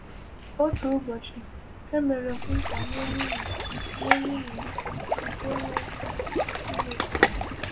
Otu ụbọchị, e mere m nkwa nye nwunye nye nwunye m nke enweghị m ike imezu.